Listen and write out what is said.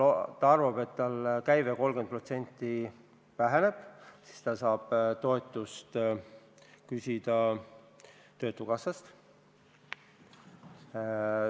Ta arvab, et tema käive väheneb 30% ja siis saab ta töötukassast toetust küsida.